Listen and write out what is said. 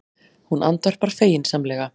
Hún andvarpar feginsamlega.